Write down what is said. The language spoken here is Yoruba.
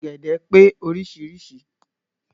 Ọ̀gẹ̀dẹ̀ pé orísirísi.